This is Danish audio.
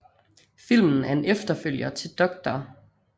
Filmen er en efterfølger til Dr